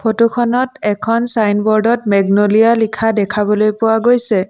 Photo খনত এখন signboard ত মেগনলিয়া লিখা দেখাবলৈ পোৱা গৈছে।